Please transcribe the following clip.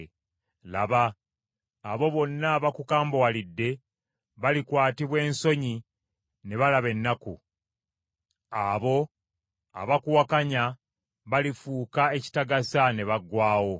“Laba, abo bonna abakukambuwalidde balikwatibwa ensonyi ne balaba ennaku. Abo abakuwakanya balifuuka ekitagasa ne baggwaawo.